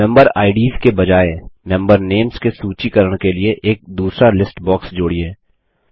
member IDs के बजाय member names के सूचीकरण के लिए एक दूसरा लिस्ट बॉक्स जोड़िए